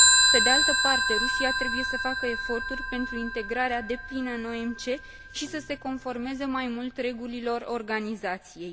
Pe de altă parte, Rusia trebuie să facă eforturi pentru integrarea deplină în OMC și să se conformeze mai mult regulilor organizației.